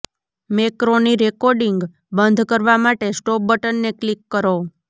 macaroni recording બંધ કરવા માટે સ્ટોપ બટનને ક્લિક કરો